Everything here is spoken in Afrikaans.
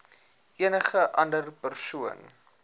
enige ander persoon